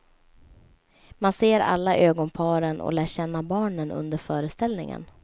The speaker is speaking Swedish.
Man ser alla ögonparen och lär känna barnen under föreställningen.